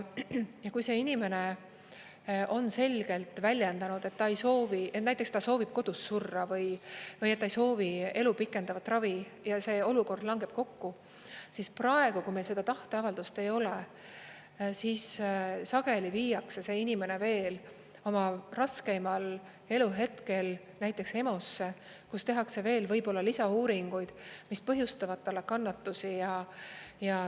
Ja kui see inimene on selgelt väljendanud, et ta ei soovi, näiteks ta soovib kodus surra või ta ei soovi elu pikendavat ravi ja see olukord langeb kokku, siis praegu, kui meil seda tahteavaldust ei ole, siis sageli viiakse see inimene veel oma raskeimal eluhetkel näiteks EMO‑sse, kus tehakse veel võib-olla lisauuringuid, mis põhjustavad talle kannatusi.